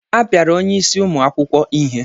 Apiara onye isi ụmụ akwụkwọ ihe.